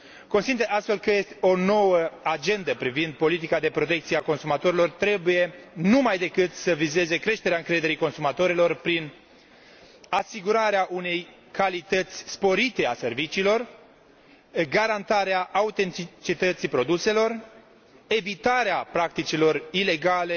Consider, astfel, că o nouă agendă privind politica de protecție a consumatorilor trebuie numaidecât să vizeze creșterea încrederii consumatorilor, prin asigurarea unei calități sporite a serviciilor, garantarea autenticității produselor, evitarea practicilor ilegale